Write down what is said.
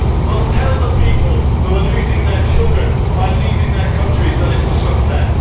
Well, tell the people who are losing their children by leaving their countries that it is a success.